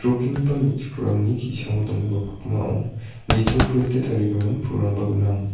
nikenggipa me·chikrangni ki·sango donggipa pakmao nitoprete tarigimin pulrangba gnang.